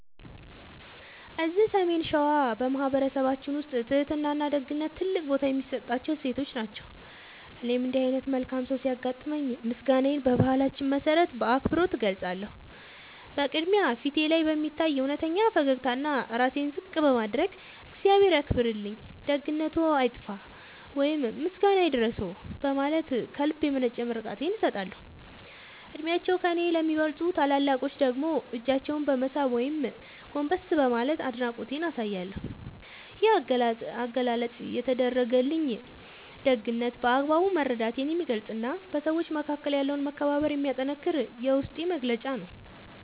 እዚህ ሰሜን ሸዋ በማኅበረሰባችን ውስጥ ትሕትናና ደግነት ትልቅ ቦታ የሚሰጣቸው እሴቶች ናቸው። እኔም እንዲህ ዓይነት መልካም ሰው ሲያጋጥመኝ ምስጋናዬን በባህላችን መሠረት በአክብሮት እገልጻለሁ። በቅድሚያ፣ ፊቴ ላይ በሚታይ እውነተኛ ፈገግታና ራሴን ዝቅ በማድረግ "እግዚአብሔር ያክብርልኝ፣ ደግነትዎ አይጥፋ" ወይም "ምስጋና ይድረስዎ" በማለት ከልብ የመነጨ ምርቃቴን እሰጣለሁ። ዕድሜያቸው ከእኔ ለሚበልጡ ታላላቆች ደግሞ እጃቸውን በመሳም ወይም ጎንበስ በማለት አድናቆቴን አሳያለሁ። ይህ አገላለጽ የተደረገልኝን ደግነት በአግባቡ መረዳቴን የሚገልጽና በሰዎች መካከል ያለውን መከባበር የሚያጠነክር የውስጤ መግለጫ ነው።